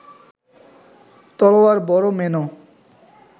তলোয়ার বড় মেনো